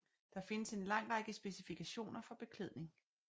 Der findes en lang række specifikationer for beklædning